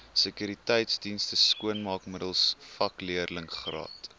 sekuriteitsdienste skoonmaakmiddels vakleerlingraad